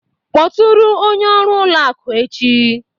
Kpọtụrụ onye ọrụ ụlọ akụ echi